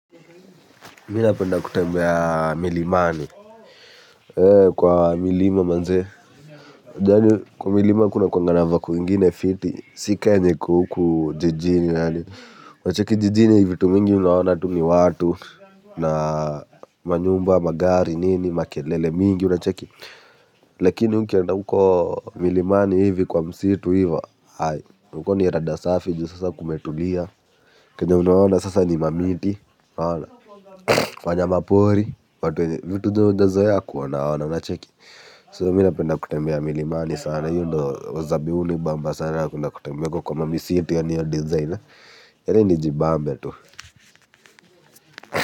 Minapenda kutembea milimani ee kwa milima manzee janyo kwa milima kunakuanga na vako ingine fiti sii kaa enye iko huku jijini yaani unacheki jijini vitu mingi unaona tu ni watu na ma nyumba magari nini makelele mingi unacheki lakini ukienda huko milimani hivi kwa msitu hivo aai huko ni rada safi juu sasa kumetulia kenye unaona sasa ni mamiti unaona wanyama pori watu vitu zenye hujazoea kuona ona unacheki soo mi napenda kutembea milimani sana hiyo ndo wazabi uni bamba sana kutembe huko kwa ma mamisitu yani hiyo design yani nijibambe tu.